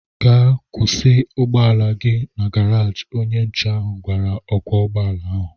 Gaa kwụsị ụgbọala gị na garaji! Onye nche ahụ gwara ọkwọ ụgbọala ahụ